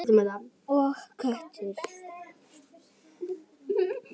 Og kökur.